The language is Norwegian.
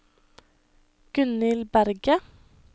Gunnhild Berget